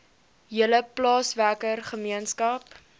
hele plaaswerker gemeenskap